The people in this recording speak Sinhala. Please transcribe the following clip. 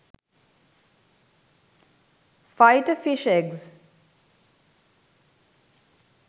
fighter fish eggs